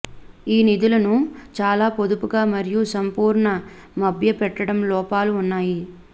ఈ నిధులను చాలా పొదుపుగా మరియు సంపూర్ణ మభ్యపెట్టడం లోపాలు ఉన్నాయి